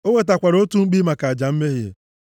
O wetakwara otu mkpi maka aja mmehie,